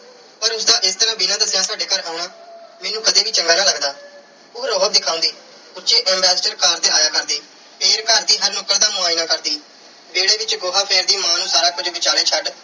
ਪਰ ਉਸ ਦਾ ਇਸ ਤਰ੍ਹਾਂ ਬਿਨਾਂ ਦੱਸਿਆਂ ਸਾਡੇ ਘਰ ਆਉਣਾ ਮੈਨੂੰ ਕਦੇ ਵੀ ਚੰਗਾ ਨਾ ਲੱਗਦਾ। ਉਹ ਰੋਅਬ ਦਿਖਾਉਂਦੀ। ਉੱਚੀ ambassadorcar ਤੇ ਆਇਆ ਕਰਦੀ ਤੇ ਘਰ ਦੀ ਹਰ ਨੁੱਕਰ ਦਾ ਮੁਆਇਨਾ ਕਰਦੀ। ਵਿਹੜੇ ਵਿੱਚ ਗੋਹਾ ਫੇਰਦੀ, ਮਾਂ ਨੂੰ ਸਾਰਾ ਕੁਝ ਵਿਚਾਲੇ ਛੱਡ